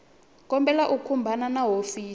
kombela u khumbana na hofisi